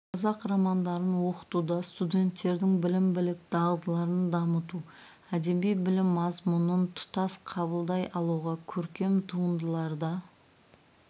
қазақ романдарын оқытуда студенттердің білім білік дағдыларын дамыту әдеби білім мазмұнын тұтас қабылдай алуға көркем туындыларда